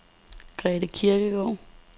Grete Kirkegaard